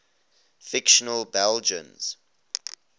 fictional belgians